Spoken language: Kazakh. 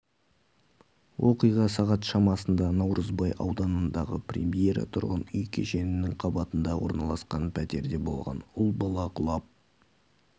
оқиға сағат шамасында наурызбай ауданындағы премьера тұрғын үй кешенінің қабатында орналасқан пәтерде болған ұл бала құлап